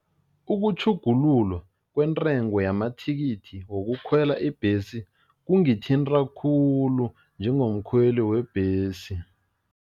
Ukutjhugululwa kwentengo yamathikithi wokukhwela ibhesi kungithinta khulu njengomkhweli webhesi.